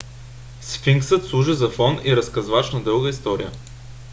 сфинксът служи за фон и разказвач на дълга история